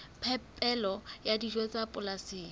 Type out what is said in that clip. phepelo ya dijo tsa polasing